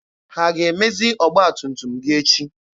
Ha ga-emezi ọgba tum tum gị echi?